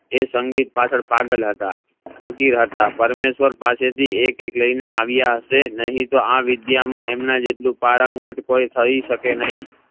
એ સંગીત પાછળ પાગલ હતા ફકીર હતા પરમેશ્વર પાસે થી એક એક લઈને આવ્યા હશે નહિ તો આ વિદ્યા માં એમના જેટલું પારંગત કોઈ થઇ શકે નહિ